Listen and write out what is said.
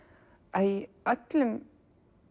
að í öllum